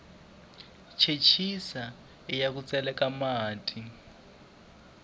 chechisa iya ku tseleka mati